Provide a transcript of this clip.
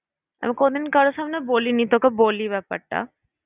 আমি কোনোদিন কারোর সামনে বলিনি, তোকে বলি ব্যাপারটা।